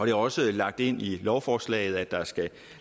er også lagt ind i lovforslaget at der skal